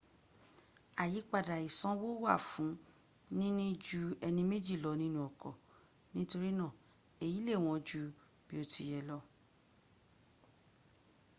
àyípadà ìsanwó wà fún níní ju ẹni méjì lọ nínu ọkọ́ nítorínà èyí lè wọ́n jú bí ó ti yẹ lọ